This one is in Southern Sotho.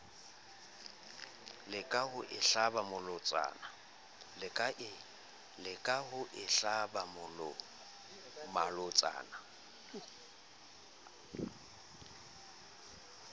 leka ho o hlaba malotsana